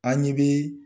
An ɲe bi